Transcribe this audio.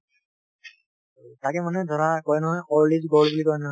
তাকে মানে ধৰা কয় নহয় old is gold বুলি কয় নহয়